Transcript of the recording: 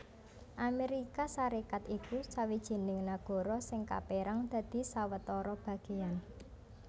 Amérika Sarékat iku sawijining nagara sing kapérang dadi sawetara bagéyan